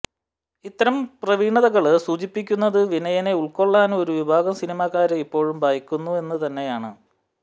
ഇത്തരം പ്രവണതകള് സൂചിപ്പിക്കുന്നത് വിനയനെ ഉള്ക്കൊള്ളാന് ഒരു വിഭാഗം സിനിമാക്കാര് ഇപ്പോഴും ഭയക്കുന്നു എന്ന് തന്നെയാണ്